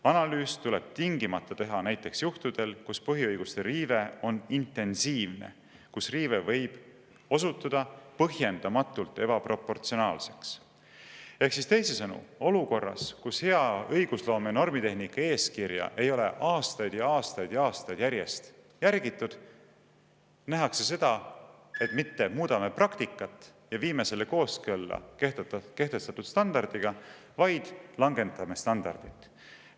Analüüs tuleb tingimata teha näiteks juhtudel, kus põhiõiguste riive on intensiivne, kus riive võib osutuda põhjendamatult ebaproportsionaalseks " Ehk teisisõnu, olukorras, kus hea õigusloome ja normitehnika eeskirja ei ole aastaid ja aastaid järjest järgitud, nähakse seda, et me mitte ei muuda praktikat ja viime selle kooskõlla kehtestatud standardiga, vaid langetame standardit.